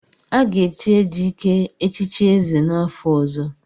Aga echi Ejike echichi ézè n'afọ ọzọ.